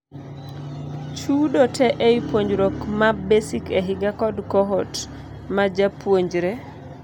Chudo te ei puonjruok ma basic e higa kod cohort majapuonjre.